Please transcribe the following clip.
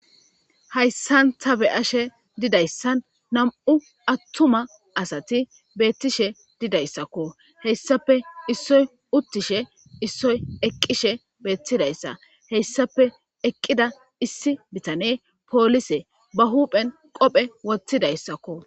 hayssan tabe ashe didayssan nam7u attuma asati beettishe didayssakko heyssape issoy uttishe issoy eqqishe beettidayssa heyssape eqqida issi bitane poolise ba huuphen qophe wottidayssakko